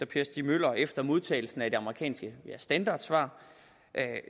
per stig møller efter modtagelsen af det amerikanske standardsvar